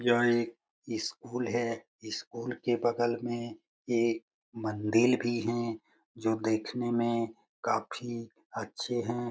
यह एक इस स्कूल है । स्कूल के बगल में एक मंदिल भी है जो देखने में काफी अच्छे है।